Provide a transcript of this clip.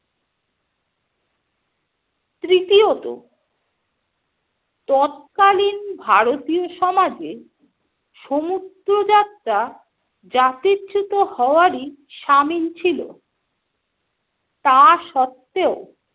তৃতীয়ত - তৎকালীন ভারতীয় সমাজে সমুদ্রযাত্রা জাতিচ্যুত হওয়ারই সামিল ছিল। তা সত্ত্বেও